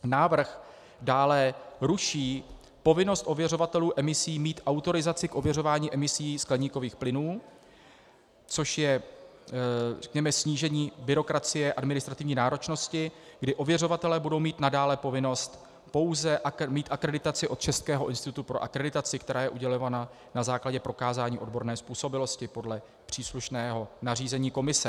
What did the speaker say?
Návrh dále ruší povinnost ověřovatelů emisí mít autorizaci k ověřování emisí skleníkových plynů, což je, řekněme, snížení byrokracie, administrativní náročnosti, kdy ověřovatelé budou mít nadále povinnost pouze mít akreditaci od Českého institutu pro akreditaci, která je udělována na základě prokázání odborné způsobilosti podle příslušného nařízení Komise.